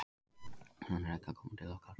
Hann er ekki að koma til okkar.